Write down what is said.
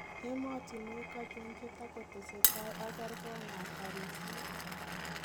Emotinwek achon che tokotestai ak kergon ab barisiet